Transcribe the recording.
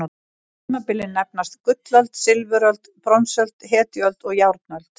Tímabilin nefnast: gullöld, silfuröld, bronsöld, hetjuöld og járnöld.